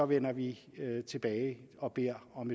vender vi tilbage og beder om